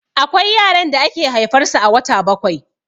Akwai yaran da ake haifar su a wata bakwai